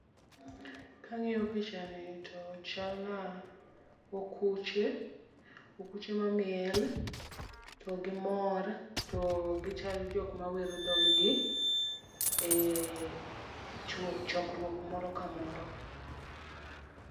Kang'iyo picha ni to chalna okuche, okuche ma miel, to gimor, to gichal jok mawero dhog gi, e chokruok moro kamoro.